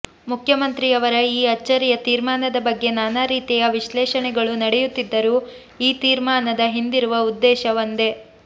ಮುಖ್ಯಮಂತ್ರಿಯವರ ಈ ಅಚ್ಚರಿಯ ತೀರ್ಮಾನದ ಬಗ್ಗೆ ನಾನಾ ರೀತಿಯ ವಿಶ್ಲೇಷಣೆಗಳು ನಡೆಯುತ್ತಿದ್ದರೂ ಈ ತೀರ್ಮಾನದ ಹಿಂದಿರುವ ಉದ್ದೇಶ ಒಂದೆ